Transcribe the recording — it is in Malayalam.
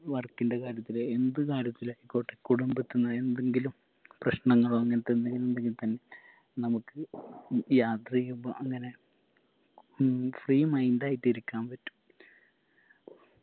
work ൻറെ കാര്യത്തില് എന്ത് കാര്യത്തിലായിക്കോട്ടെ കുടുംബത്തിന്ന് എന്തെങ്കിലും പ്രശ്നനങ്ങളോ അങ്ങൻതെന്തെങ്കിലും ഉണ്ടെങ്കി തന്നെ നമക്ക് ഉം യാത്രെയ്യുമ്പോ അങ്ങനെ ഉം free mind ആയിട്ടിരിക്കാൻ പറ്റും